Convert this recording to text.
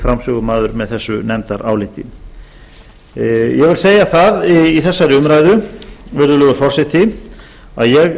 framsögumaður með þessu nefndaráliti ég vil segja það í þessari umræðu virðulegur forseti að ég